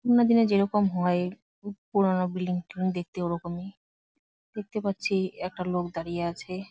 পুরনো দিনে যেরকম হয় পুরনো বিল্ডিং টিল্ডিং দেখতে ওরকমই | দেখতে পাচ্ছি একটা লোক দাঁড়িয়ে আছে।